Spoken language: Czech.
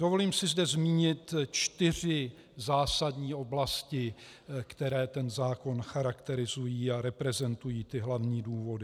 Dovolím si zde zmínit čtyři zásadní oblasti, které ten zákon charakterizují a reprezentují ty hlavní důvody.